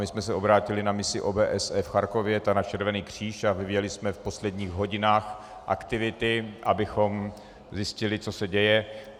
My jsme se obrátili na misi OBSE v Charkově, ta na Červený kříž a vyvíjeli jsme v posledních hodinách aktivity, abychom zjistili, co se děje.